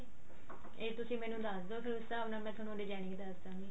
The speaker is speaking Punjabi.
ਇਹ ਤੁਸੀਂ ਮੈਨੂੰ ਦੱਸ ਦੋ ਫਿਰ ਉਸ ਸਾਬ ਨਾਲ ਮੈਂ ਤੁਹਾਨੂੰ designing ਦੱਸ ਦਾਂਗੀ